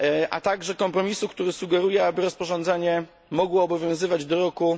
a także kompromisu, który sugeruje, aby rozporządzenie mogło obowiązywać do roku